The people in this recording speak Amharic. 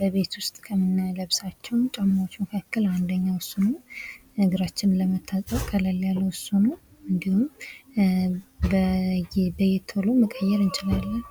በቤት ዉስጥ ከምንለብሳቸው ጫማወች ማካከል አንደኛው እሱ ነው። እግራችንን ለመታጠብ ቀለል ያለው እሱ ነው። እንዲሁም ቶሎ መቀየር እንችላለን።